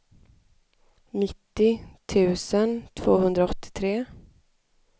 nittio tusen tvåhundraåttiotre